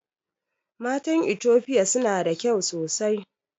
Matan itofia suna da kyau sosai